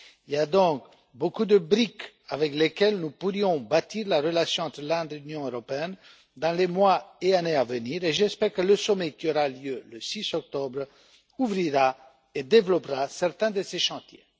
Il y a donc beaucoup de briques avec lesquelles nous pourrions bâtir la relation entre l'Inde et l'Union européenne dans les mois et années à venir, et j'espère que le sommet qui aura lieu le 6 octobre ouvrira et développera certains de ces chantiers.